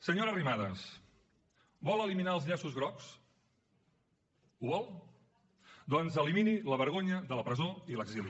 senyora arrimadas vol eliminar els llaços grocs ho vol doncs elimini la vergonya de la presó i l’exili